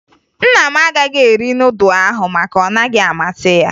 Nna m agaghị eri nudụ ahụ maka ọ naghị amasị ya